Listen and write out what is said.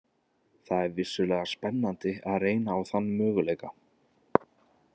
Það er vissulega spennandi að reyna á þann möguleika.